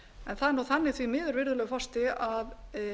en það er nú þannig virðulegur forseti að